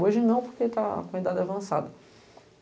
Hoje não, porque ele está com a idade avançada.